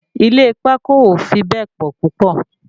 Ilé pákó ò fi bẹ́ẹ̀ pọ̀ púpọ̀